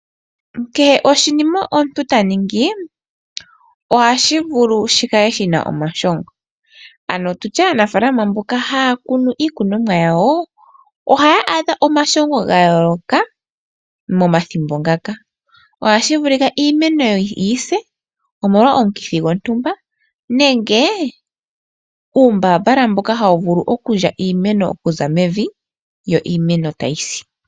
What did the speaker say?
Kehe oshinima omuntu taningi ohashi vulu shikale shina omashongo ano tutye aanafaalama mboka haya kunu iikunomwa yawo ohaya adha omashongo ga yooloka momathimbo ngaka. ohashi vulika iimeno yawo yise omolwa omukithi gontumba nenge uumbambala mboka hawu vulu okulya iimeno okuza mevi yo iimeno tayisi.